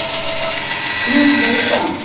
Guð veit það.